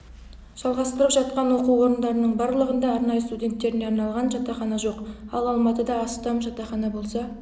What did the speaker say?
жалғастырып жатқан оқу орындарының барлығында арнайы студенттеріне арналған жатақхана жоқ ал алматыда астам жатақхана болса